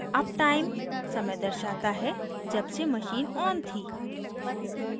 uptime समय दर्शाता है जबसे machine on थी